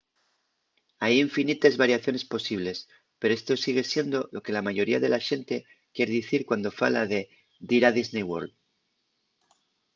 hai infinites variaciones posibles pero esto sigue siendo lo que la mayoría de la xente quier dicir cuando fala de dir a disney world